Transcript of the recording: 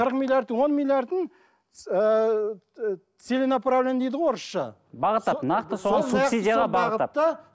қырық миллиардтың он миллиардын ыыы целенаправлен дейді ғой орысша